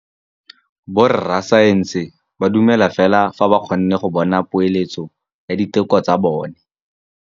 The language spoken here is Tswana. Borra saense ba dumela fela fa ba kgonne go bona poeletsô ya diteko tsa bone.